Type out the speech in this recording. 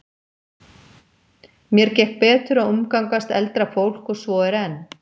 Mér gekk betur að umgangast eldra fólk og svo er enn.